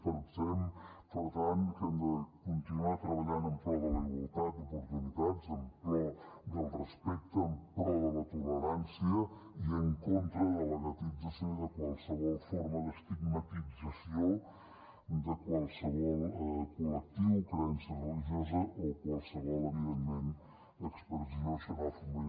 pensem per tant que hem de continuar treballant en pro de la igualtat d’oportunitats en pro del respecte en pro de la tolerància i en contra de la guetització i de qualsevol forma d’estigmatització de qualsevol col·lectiu creença religiosa o qualsevol evidentment expressió xenòfoba